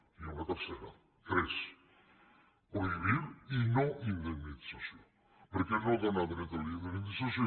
n’hi ha una tercera tres prohibir i no indemnització perquè no dóna dret a la indemnització